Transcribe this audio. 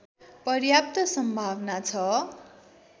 पर्याप्त सम्भावना छ